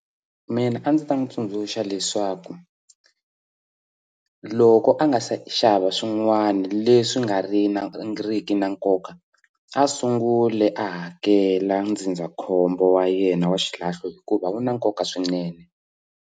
Mina a ndzi ta n'wi tsundzuxa leswaku loko a nga se xava swin'wana leswi nga ri na ri ki na nkoka a sungule a hakela ndzindzakhombo wa yena wa xilahlo hikuva wu na nkoka swinene.